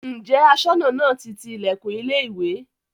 Ǹjẹ́ Aṣọ́nà náà ti ti ilẹ̀kùn ilé ìwé?